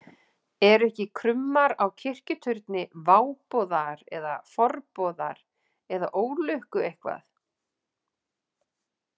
Eru ekki krummar á kirkjuturni váboðar eða forboðar eða ólukku eitthvað?